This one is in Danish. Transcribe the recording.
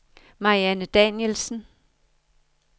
Marianne Danielsen